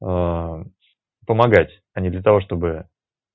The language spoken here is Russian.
аа помогать а не для того чтобы